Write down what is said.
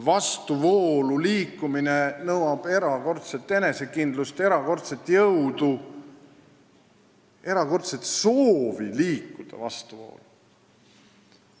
Vastuvoolu liikumine nõuab erakordset enesekindlust, erakordset jõudu, erakordset soovi liikuda vastuvoolu.